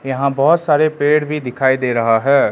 यहां बहुत सारे पेड़ भी दिखाई दे रहा है।